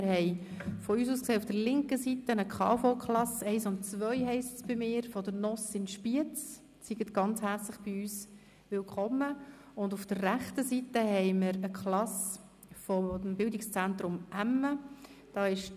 Auf der von uns aus gesehen linken Seite sind die KV-Klasse 1 und 2 aus Spiez zu Gast, auf der rechten Seite eine Klasse vom Bildungszentrum Emmen (bz emme).